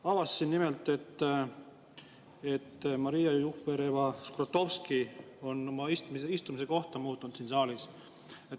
Avastasin nimelt, et Maria Jufereva-Skuratovski on muutnud oma kohta siin saalis.